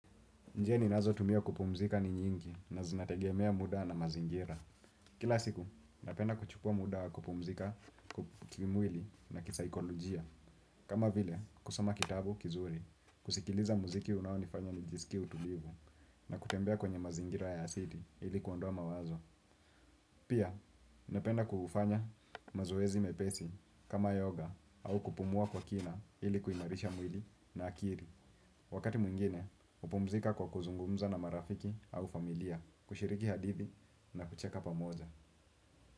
Njia ninazo tumia kupumzika ni nyingi na zinategemea muda na mazingira. Kila siku, napenda kuchukua muda wa kupumzika kimwili na kisaikolojia. Kama vile, kusoma kitabu kizuri, kusikiliza muziki unaonifanya nijisikie utulivu na kutembea kwenye mazingira ya asili ili kuondoa mawazo. Pia, napenda kuufanya mazoezi mepesi kama yoga au kupumua kwa kina ili kuimarisha mwili na akili. Wakati mwingine, hupumzika kwa kuzungumza na marafiki au familia, kushiriki hadithi na kucheka pamoja.